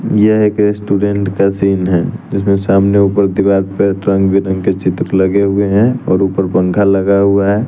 यह एक रेस्टोरेंट का सीन है जिसमें सामने ऊपर दीवार पे रंग बिरंगे चित्र लगे हुए हैं और ऊपर पंखा लगा हुआ है।